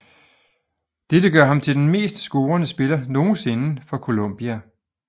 Dette gør ham til den mest scorende spiller nogensinde for Colombia